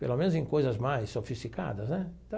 Pelo menos em coisas mais sofisticadas, né?